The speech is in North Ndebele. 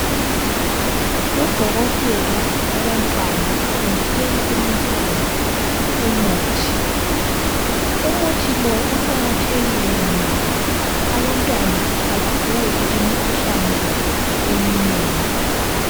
Udokotela wabantwana uthontisela umntwana umuthi. Umuthi lo uqakathekile ngoba abantwana abaguli imikhuhlane eminengi.